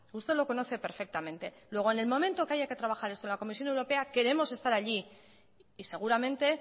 usted lo conoce perfectamente luego en el momento que haya que trabajar esto en la comisión europea queremos estar allí y seguramente